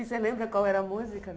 E você lembra qual era a música?